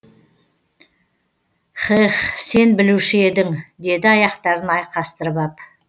хэхх сен білуші едің деді аяқтарын айқастырып ап